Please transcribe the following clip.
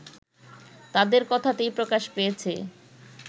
তাদের কথাতেই প্রকাশ পেয়েছে